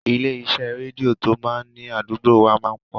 Ilé iṣẹ́ rédíò tó máa ni àdúgbò wa máa pọ̀.